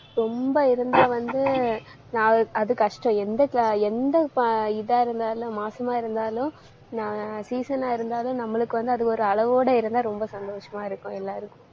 ரொம்ப இருந்தா வந்து நான் அது கஷ்டம். எந்த எந்த இதா இருந்தாலும், மாசமா இருந்தாலும் சீசனா இருந்தாலும் நம்மளுக்கு வந்து அது ஒரு அளவோட இருந்தா ரொம்ப சந்தோஷமா இருக்கும் எல்லாருக்கும்.